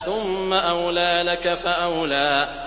ثُمَّ أَوْلَىٰ لَكَ فَأَوْلَىٰ